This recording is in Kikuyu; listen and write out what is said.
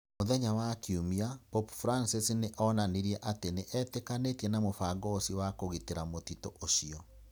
Mũthenya wa Kiumia, Pope Francis nĩ onanirie atĩ nĩ etĩkanĩtie na mũbango ũcio wa kũgitĩra mũtitũ ũcio